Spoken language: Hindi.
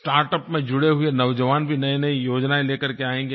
स्टार्टअप में जुड़े हुए नौजवान भी नईनई योजनाएँ लेकर के आएंगे